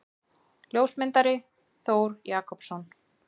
Ljósmyndari: Þór Jakobsson.